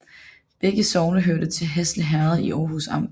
Begge sogne hørte til Hasle Herred i Århus Amt